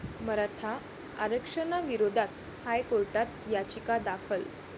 मराठा आरक्षणाविरोधात हायकोर्टात याचिका दाखल